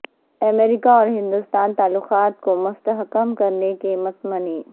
امریکہ اور ہندوستان تعلقات کو مستحکم کرنے کے متمنی